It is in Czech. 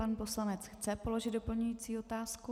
Pan poslanec chce položit doplňující otázku.